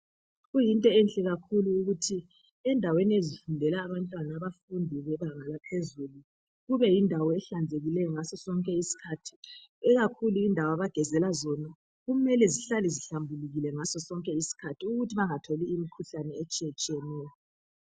Kuyinto enhle kakhulu ukuthi endaweni ezifundela abantwana, abafundi bemfundo yebanga eliphezulu, kubeyindawo ehlanzekileyo ngaso sonke isikhathi. Ikakhulu indawo abagezela zona, kumele zihlale zihlanzekile ngaso sonke isikhathi. Ukuze bangatholi imikhuhlane, etshiyatshiyeneyo.